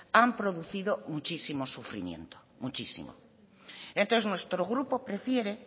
han producido muchísimo sufrimiento muchísimo entonces nuestro grupo prefiere